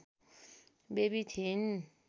baby थिइन्